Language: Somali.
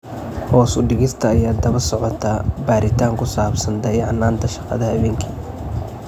Hoos u dhigista ayaa daba socotay baaritaan ku saabsan dayacnaanta shaqada habeenkii.